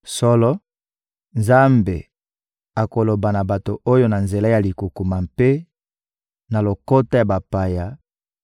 Solo, Nzambe akoloba na bato oyo na nzela ya likukuma mpe na lokota ya bapaya;